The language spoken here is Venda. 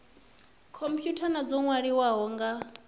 khomphutha na dzo nwaliwaho nga